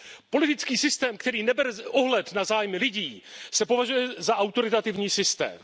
Politický systém, který nebere ohled na zájmy lidí, se považuje za autoritativní systém.